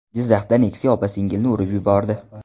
Jizzaxda Nexia opa-singilni urib yubordi.